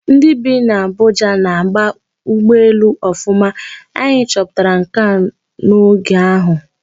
Ndị bi n'Abuja na-aba ụgbọelu Ọfụma, anyị chọpụtara nke a oge ahụ.